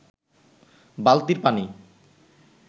বালতির পানি